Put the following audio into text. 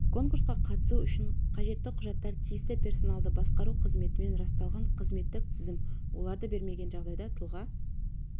конкурсқа қатысу үшін қажетті құжаттар тиісті персоналды басқару қызметімен расталған қызметтік тізім оларды бермеген жағдайда тұлға